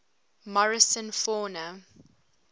morrison fauna